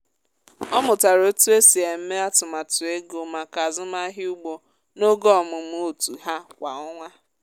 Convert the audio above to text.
ọ mụtara otu esi eme atụmatụ ego maka azụmahịa ugbo n’oge ọmụmụ otu ha kwa ọnwa.